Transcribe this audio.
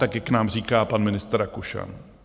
Tak jak nám říká pan ministr Rakušan.